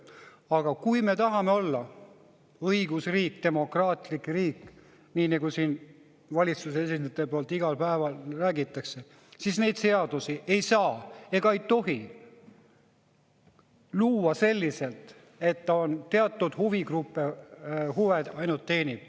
Aga kui me tahame olla õigusriik, demokraatlik riik, nii nagu siin valitsuse esindajad iga päev räägivad, siis neid seadusi ei saa ega tohi luua selliselt, et need ainult teatud huvigruppide huve teenivad.